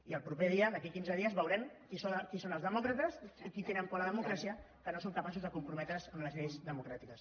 i el proper dia d’aquí a quinze dies veurem qui són els demòcrates qui té por a la democràcia que no són capaços de comprometre’s amb les lleis democràtiques